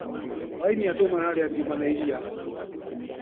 Hwainĩ andũ mararĩa ngima na iria.